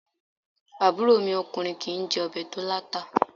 Àbúrò mi okùnrin kìí jé obè tó láta